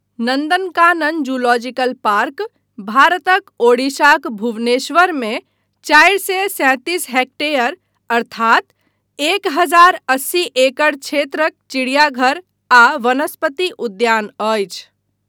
Nandankanan zoological park भारतक ओडिशाक भुवनेश्वरमे चारि सए सैंतीस हेक्टेयर अर्थात एक हजार अस्सी एकड़ क्षेत्रक चिड़ियाघर आ वनस्पति उद्यान अछि।